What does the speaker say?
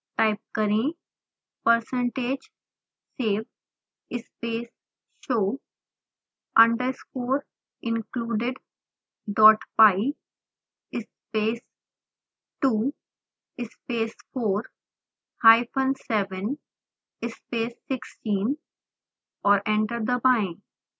type करें percentage save space show underscore includedpy space 2 space 4 hyphen 7 space 16 और enter दबाएं